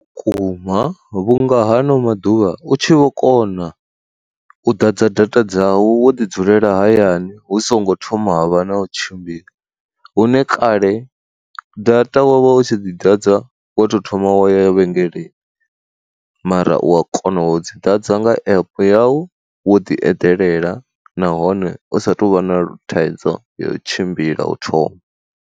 Kuma vhunga hano maḓuvha u tshi vho kona u ḓadza data dzau wo ḓi dzulela hayani hu songo thoma vha na u tshimbila, hune kale data wa vha u tshi dzi ḓadza wo to thoma wa ya vhengeleni mara u a kona u dzi ḓadza nga app yau wo ḓi eḓelela nahone usa tovha na thaidzo ya u tshimbila u thoma.